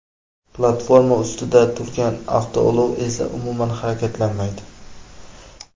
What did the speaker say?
Platforma ustida turgan avtoulov esa umuman harakatlanmaydi.